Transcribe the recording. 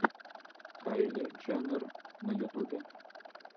кайли дженнер на ютубе